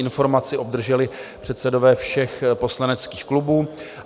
Informaci obdrželi předsedové všech poslaneckých klubů.